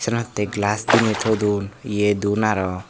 synot hi gelas diney todon iye don araw.